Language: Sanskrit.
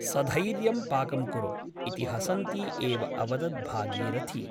सधैर्यं पाकं कुरु इति हसन्ती एव अवदत् भागीरथी ।